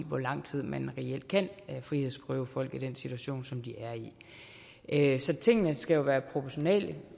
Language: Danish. hvor lang tid man reelt kan frihedsberøve folk i den situation som de er i så tingene skal være proportionale